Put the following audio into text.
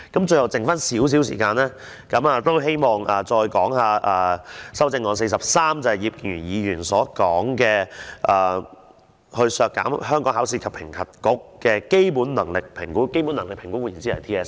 最後剩下少許時間，希望再談修正案第43項，就是葉建源議員提出的削減香港考試及評核局的基本能力評估，換言之是 TSA。